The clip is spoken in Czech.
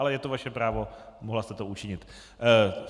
Ale je to vaše právo, mohla jste to učinit.